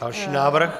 Další návrh.